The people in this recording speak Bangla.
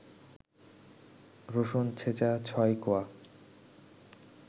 রসুন ছেঁচা ৬ কোয়া